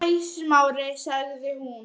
Hæ, Smári- sagði hún.